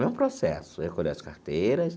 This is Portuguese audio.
É o mesmo processo, recolheu as carteiras.